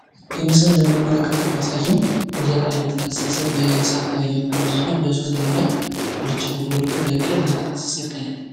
ይህ ምስል እንደምንመለከተው የሚያሳየ ከላይ የተፈሰሰ እሳት እና በሦስት ድንጋ ጉልቻ ተጎልቶ በቅል እየተፈሰሰ ይታያል።